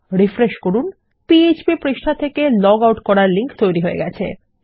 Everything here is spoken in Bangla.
রিফ্রেশ করুন পিএচপি পৃষ্ঠা থেকে লগ আউট করার লিংক তৈরী হয়ে গেছে